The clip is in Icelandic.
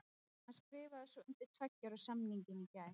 Hann skrifaði svo undir tveggja ára samningin í gær.